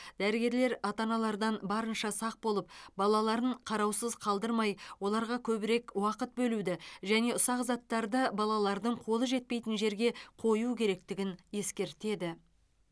дәрігерлер ата аналардан барынша сақ болып балаларын қараусыз қалдырмай оларға көбірек уақыт бөлуді және ұсақ заттарды балалардың қолы жетпейтін жерге қою керектігін ескертеді